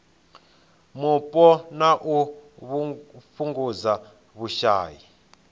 mupo na u fhungudza vhushai